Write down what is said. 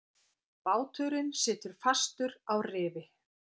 Báturinn situr fastur á rifi.